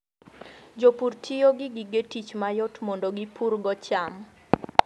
Jopur tiyo gi gige tich mayot mondo gipurgo cham.